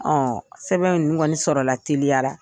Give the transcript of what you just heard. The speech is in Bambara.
sɛbɛn ngɔni sɔrɔ la teliya la